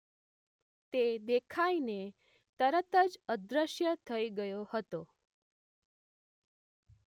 તે દેખાઇને તરત જ અદ્રશ્ય થઈ ગયો હતો